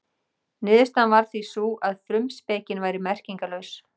Niðurstaðan varð því sú að frumspekin væri merkingarlaus.